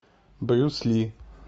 брюс ли